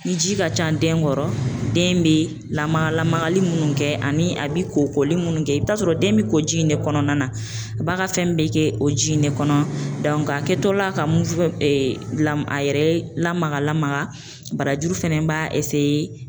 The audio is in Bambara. Ni ji ka ca den kɔrɔ den bɛ lamaga lamagali minnu kɛ ani a bɛ ko koli minnu kɛ i bɛ t'a sɔrɔ den bɛ ko ji in de kɔnɔna na, a b'a ka fɛn bɛ kɛ o ji in de kɔnɔ a kɛtɔ la ka la a yɛrɛ ye lamaga lamaga barajuru fana b'a